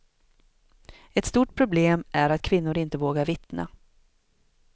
Ett stort problem är att kvinnor inte vågar vittna.